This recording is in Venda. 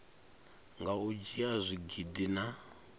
nga u dzhia zwigidi na